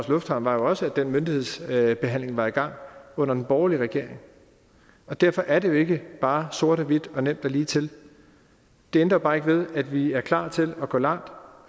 lufthavn er jo også at den myndighedsbehandling var i gang under den borgerlige regering derfor er det jo ikke bare sort og hvidt og nemt og ligetil det ændrer bare ikke ved at vi er klar til at gå langt